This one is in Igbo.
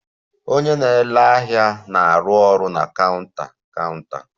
Onye na-ere ahịa na-arụ ọrụ na counter counter